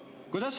Kuidas?